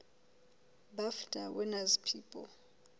bafta winners people